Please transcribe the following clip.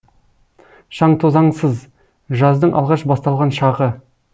шаңтозаңсыз жаздың алғаш басталған шағы